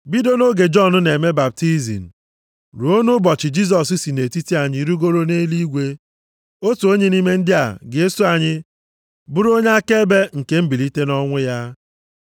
bido nʼoge Jọn na-eme baptizim ruo nʼụbọchị Jisọs si nʼetiti anyị rigoro nʼeluigwe. Otu onye nʼime ndị a ga-eso anyị bụrụ onye akaebe nke mbilite nʼọnwụ ya.”